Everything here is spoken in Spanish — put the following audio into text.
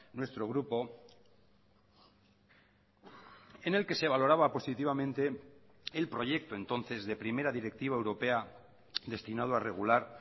nuestro grupo en el que se valoraba positivamente el proyecto entonces de primera directiva europea destinado a regular